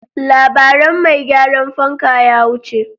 Labaran mai gyaran fanka ya wuce.